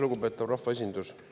Lugupeetav rahvaesindus!